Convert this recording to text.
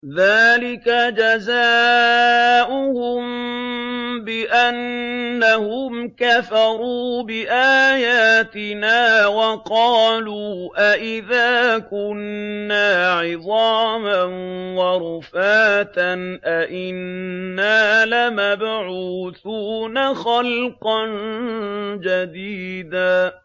ذَٰلِكَ جَزَاؤُهُم بِأَنَّهُمْ كَفَرُوا بِآيَاتِنَا وَقَالُوا أَإِذَا كُنَّا عِظَامًا وَرُفَاتًا أَإِنَّا لَمَبْعُوثُونَ خَلْقًا جَدِيدًا